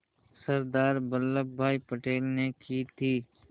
सरदार Vallabhbhai Patel ने की थी